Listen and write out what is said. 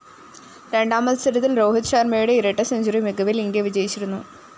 രണ്ടാം മത്സരത്തില്‍ രോഹിത് ശര്‍മയുടെ ഇരട്ടസെഞ്ചുറി മികവില്‍ ഇന്ത്യ വിജയിച്ചിരുന്നു